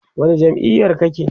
wani jam'iyar kake?